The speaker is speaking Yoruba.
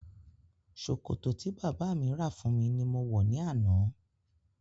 Ṣòkòtò tí bàbá mi rà fún mi ní mo wọ̀ ní àná